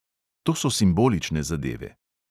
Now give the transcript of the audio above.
To so simbolične zadeve.